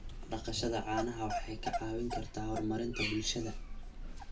Dhaqashada caanaha waxay ka caawin kartaa horumarinta bulshada.